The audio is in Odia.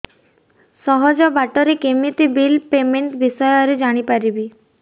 ସହଜ ବାଟ ରେ କେମିତି ବିଲ୍ ପେମେଣ୍ଟ ବିଷୟ ରେ ଜାଣି ପାରିବି